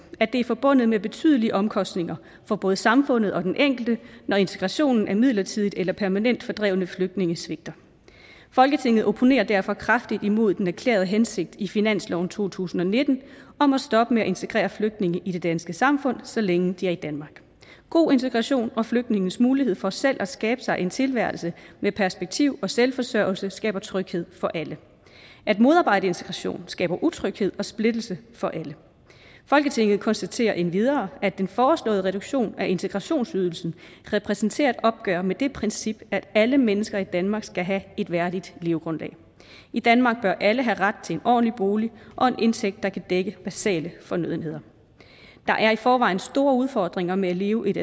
at det er forbundet med betydelige omkostninger for både samfundet og den enkelte når integrationen af midlertidigt eller permanent fordrevne flygtninge svigter folketinget opponerer derfor kraftigt imod den erklærede hensigt i finansloven to tusind og nitten om at stoppe med at integrere flygtninge i det danske samfund så længe de er i danmark god integration og flygtninges mulighed for selv at skabe sig en tilværelse med perspektiv og selvforsørgelse skaber tryghed for alle at modarbejde integration skaber utryghed og splittelse for alle folketinget konstaterer endvidere at den foreslåede reduktion af integrationsydelsen repræsenterer et opgør med det princip at alle mennesker i danmark skal have et værdigt levegrundlag i danmark bør alle have ret til en ordentlig bolig og en indtægt der kan dække basale fornødenheder der er i forvejen store udfordringer med at leve et